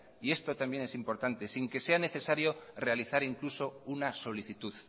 y esto también es importante sin que sea necesario realizar incluso una solicitud